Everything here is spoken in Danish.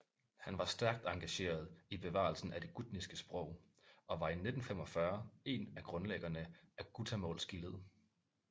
Han var stærkt engageret i bevarelsen af det gutniske sprog og var i 1945 en af grundlæggerne af Gutamålsgillet